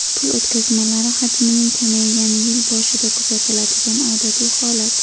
Pul o‘tkazmalari hajmining kamaygani yil boshida kuzatiladigan odatiy holat.